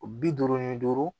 O bi duuru ni duuru